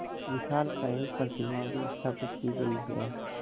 विशालकाय प्रतिमा भी स्थापित की गई है